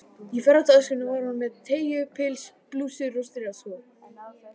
Í ferðatöskunni var hún með teygju- pils, blússur og strigaskó.